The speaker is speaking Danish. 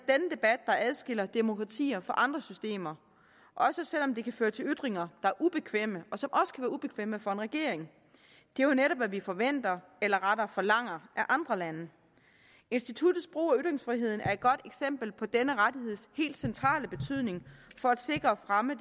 debat der adskiller demokratier fra andre systemer også selv om det kan føre til ytringer er ubekvemme og som også kan være ubekvemme for en regering det er jo netop hvad vi forventer eller rettere forlanger af andre lande instituttets brug af ytringsfriheden er et godt eksempel på denne rettigheds helt centrale betydning for at sikre og fremme